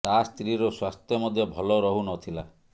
ତା ସ୍ତ୍ରୀ ର ସ୍ୱାସ୍ଥ୍ୟ ମଧ୍ୟ ଭଲ ରହୁ ନ ଥିଲା